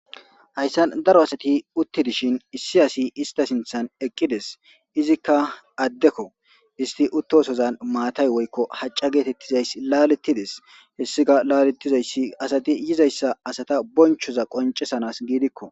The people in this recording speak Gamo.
Hayssan daro asati utti dishin issi asi ista sinthan eqqi des. Izikka addekko isti uttosozan maatay woykko hacca geetettiza issa laaleti des. He issika laalettiza issi asati yizayssa asata bonchoza qoncisanas giidikko.